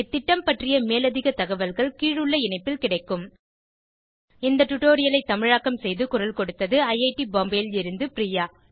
இந்த திட்டம் பற்றிய மேலதிக தகவல்கள் கீழுள்ள இணைப்பில் கிடைக்கும் இந்த டுடோரியலை தமிழாக்கம் செய்து குரல் கொடுத்தது ஐஐடி பாம்பேவில் இருந்து பிரியா